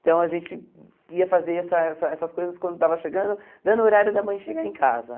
Então a gente ia fazer essa essa essas coisas quando estava chegando, dando o horário da mãe chegar em casa.